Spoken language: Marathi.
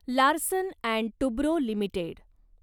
Larsen and Toubro limited